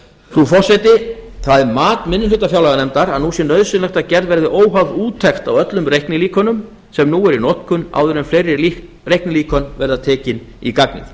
frú forseti það er mat minni hluta fjárlaganefndar að nú sé nauðsynlegt að gerð verði óháð úttekt á öllum reiknilíkönum sem nú eru í notkun áður en fleiri reiknilíkön verða tekin í gagnið